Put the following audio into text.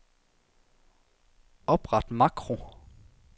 Opret makro.